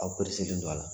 Aw don a la